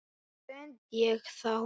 Hvar stend ég þá?